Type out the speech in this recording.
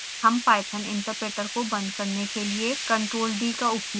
हम ipython interpreter को बंद करने के लिए ctrl + d का उपयोग करते हैं